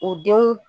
U denw